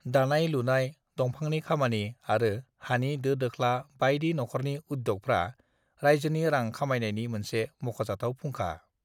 "दानाय-लुनाय, दंफांनि खामानि आरो हानि दो-दोख्ला बायदि नखरनि उद्य'गफ्रा रायजोनि रां खामायनायनि मोनसे मख'जाथाव फुंखा।"